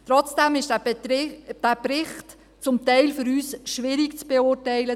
Trotzdem war dieser Bericht für uns zum Teil schwierig zu beurteilen.